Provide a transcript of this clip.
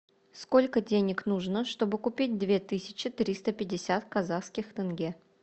сколько денег нужно чтобы купить две тысячи триста пятьдесят казахских тенге